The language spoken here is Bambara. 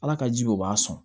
Ala ka ji be o b'a sɔn